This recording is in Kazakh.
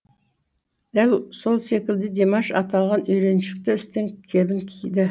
дәл сол секілді димаш аталған үйреншікті істің кебін киді